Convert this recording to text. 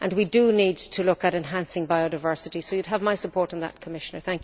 We do need to look at enhancing biodiversity, so you would have my support on that, Commissioner.